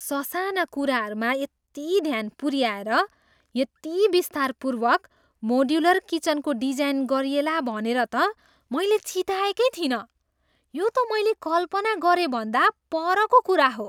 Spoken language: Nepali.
ससाना कुराहरूमा यति ध्यान पुऱ्याएर यति विस्तारपूर्वक मोड्युलर किचनको डिजाइन गरिएला भनेर त मैले चिताएकै थिइनँ! यो त मैले कल्पना गरेभन्दा परको कुरा हो।